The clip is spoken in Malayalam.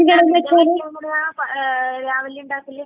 രാവിലെ ഇണ്ടാക്കല്?